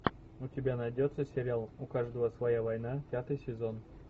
у тебя найдется сериал у каждого своя война пятый сезон